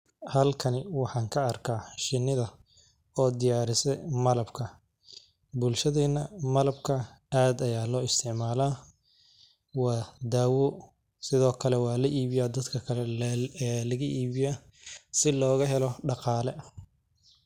Halkani waxan ka arka shinidha oo diyarise malabka waxa laga ibiya dadka kale si loga helo daqale.